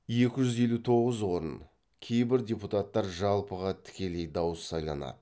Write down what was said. екі жүз елу тоғыз орын кейбір депутаттар жалпыға тікелей дауыс сайланады